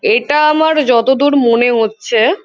এটা আমার যতদূর মনে হচ্ছে।